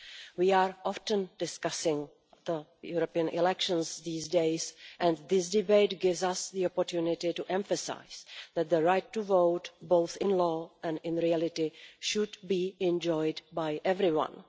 We often discuss the European elections these days and this debate gives us the opportunity to emphasise that the right to vote, both in law and in reality, should be enjoyed by everyone.